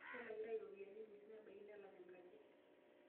Kelakitai ropiyianikuti nemebaiki nelak enkaji.